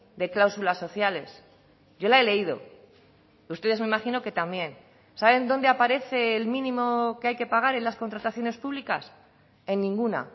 de cláusulas sociales yo la he leído ustedes me imagino que también saben dónde aparece el mínimo que hay que pagar en las contrataciones públicas en ninguna